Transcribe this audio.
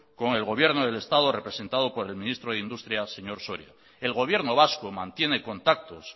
con el gobierno del estado representado por el ministro de industria señor soria el gobierno vasco mantiene contactos